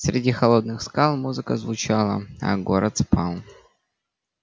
среди холодных скал музыка звучала а город спал